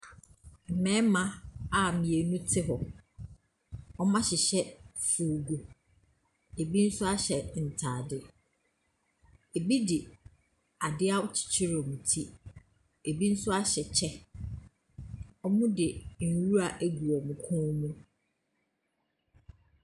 Mmɛma a mmienu te hɔ, ɔmo ahyehyɛ foogu. ebi nso ahyɛ ntaade. Ebi de ade akyikyire wɔn ti, ebi nso ahyɛ kyɛ. Ɔmo de nwura agu wɔmmo kɔn mu.